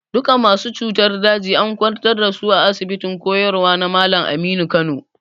Duka masu cutar daji and kwantar da su a asibitin koyarwa na Malam Aminu Kano.